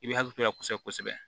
I bɛ hakili to a la kosɛbɛ kosɛbɛ